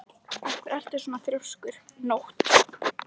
Af hverju ertu svona þrjóskur, Nótt?